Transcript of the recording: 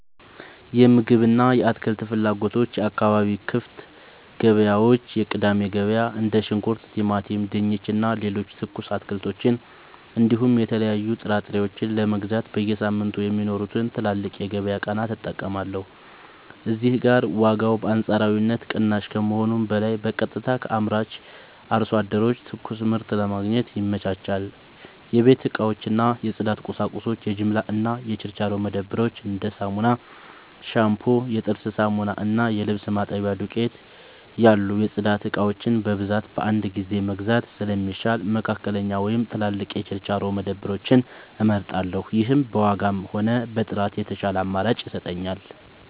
የምግብ እና የአትክልት ፍላጎቶች የአካባቢ ክፍት ገበያዎች (የቅዳሜ ገበያ): እንደ ሽንኩርት፣ ቲማቲም፣ ድንች እና ሌሎች ትኩስ አትክልቶችን እንዲሁም የተለያዩ ጥራጥሬዎችን ለመግዛት በየሳምንቱ የሚኖሩትን ትላልቅ የገበያ ቀናት እጠቀማለሁ። እዚህ ጋር ዋጋው በአንጻራዊነት ቅናሽ ከመሆኑም በላይ በቀጥታ ከአምራች አርሶ አደሮች ትኩስ ምርት ለማግኘት ይመቻቻል። 2. የቤት እቃዎች እና የጽዳት ቁሳቁሶች የጅምላ እና የችርቻሮ መደብሮች: እንደ ሳሙና፣ ሻምፑ፣ የጥርስ ሳሙና እና የልብስ ማጠቢያ ዱቄት (ዱቄት ሳሙና) ያሉ የጽዳት እቃዎችን በብዛት በአንድ ጊዜ መግዛት ስለሚሻል፣ መካከለኛ ወይም ትላልቅ የችርቻሮ መደብሮችን እመርጣለሁ። ይህም በዋጋም ሆነ በጥራት የተሻለ አማራጭ ይሰጠኛል።